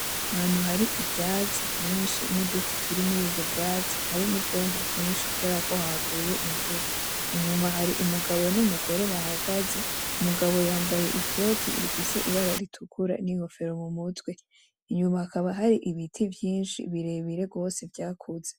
Ahantu hari ivyatsi vyinshi n'uduti turi murivyo vyatsi hari n'ivyondo vyinshi kuberako haguye imvura, inyuma hari umugabo n'umugore bahagaze, umugabo yambaye ikoti rifise ibara ritukura n'inkofero mumutwe, inyuma hakaba hari ibiti vyinshi birebire gose vyakuze.